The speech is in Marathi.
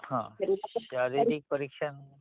शारीरिक परीक्षण म्हणजे